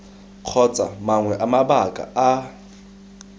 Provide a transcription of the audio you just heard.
kgotsa mangwe a mabaka a